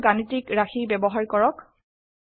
বিভিন্ন গাণিতিক ৰাশি ব্যবহাৰ কৰক